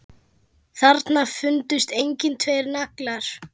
Þarna fundust einnig tveir naglar.